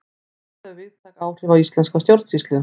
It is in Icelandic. Þetta hefur víðtæk áhrif á íslenska stjórnsýslu.